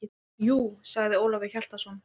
Jú, sagði Ólafur Hjaltason.